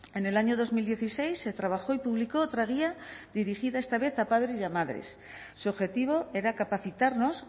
en el año dos mil dieciséis se trabajó y publicó otra guía dirigida esta vez a padres y a madres su objetivo era capacitarnos